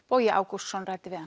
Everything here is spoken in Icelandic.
Bogi Ágústsson ræddi við hann